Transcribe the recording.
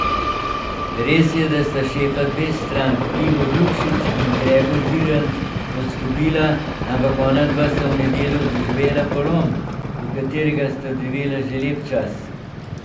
Res je, da sta šefa dveh strank, Igor Lukšič in Gregor Virant, odstopila, ampak onadva sta v nedeljo doživela polom, v katerega sta drvela že lep čas.